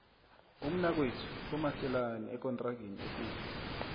umnakwethu komeselani ekontrageni ekulu